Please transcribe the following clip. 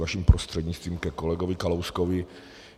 Vaším prostřednictvím ke kolegovi Kalouskovi.